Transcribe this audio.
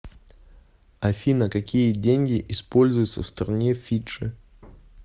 афина какие деньги используются в стране фиджи